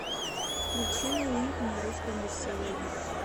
включи новинку на русском бестселлере